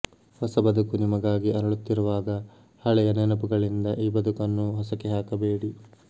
ಹೊಸ ಬದುಕು ನಿಮಗಾಗಿ ಅರಳುತ್ತಿರುವಾಗ ಹಳೆಂುು ನೆನಪುಗಳಿಂದ ಈ ಬದುಕನ್ನು ಹೊಸಕಿ ಹಾಕಬೇಡಿ